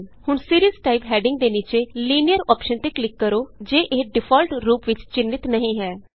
ਹੁਣ ਸੀਰੀਜ਼ typeਹੈਡਿੰਗ ਦੇ ਨੀਚੇ Linearਅੋਪਸ਼ਨ ਤੇ ਕਲਿਕ ਕਰੋ ਜੇ ਇਹ ਡਿਫਾਲਟ ਰੂਪ ਵਿਚ ਚਿੰਨ੍ਹਿਤ ਨਹੀਂ ਹੈ